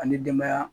An ni denbaya